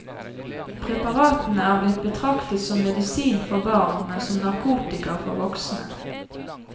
Preparatene er blitt betraktet som medisin for barn, men som narkotika for voksne.